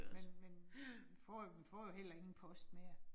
Men men får jo, vi får heller ingen post mere